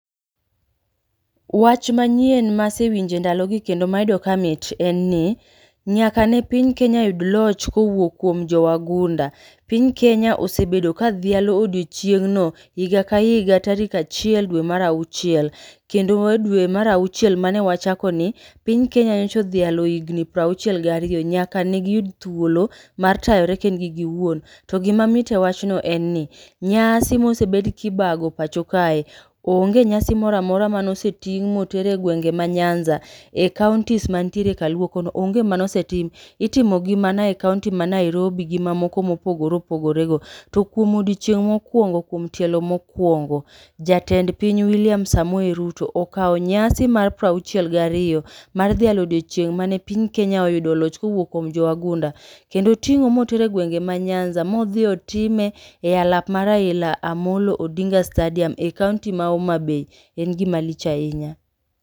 Wach manyien masewinjo e ndalogi kendo mayudo kamit en ni, nyaka ne piny Kenya yud loch kowuok kuom jowagunda, Piny Kenya osebedo kadhialo odiochieng'no iga ka iga tarik achiel dwe mara auchiel kendo mar dwe mar auchiel mane wachakoni, piny Kenya nyicha odhialo higni prauchiel ga ariyo nayaka negi yud thuolo mar tayore kendgi giwuon. To gimamit ewachno enni, nyasi mosebed gibago epacho kae. Onge nyasi moro amora manoseting' motere engewenge ma Nyanza ekaontis mantiere kaluo kono onge mane osetim itimogi mana ekaonti manairobi gi mamoko mopogore opogorego. To kuom odiochieng' mokuongo kuom tielo mokuongo jatend piny Wiliam Samoei Ruto okawo nyasi mar prauchielgi ariyo mar dhialo odiechieng' mane piny Kenya oyudo loch kowuok kuom jowagunda. Keno oting'o motero egwenge manyanza modhi otime elap mar Raila Amollo Odinga stadium eyi kaonti ma omabei en gima lich ahinya.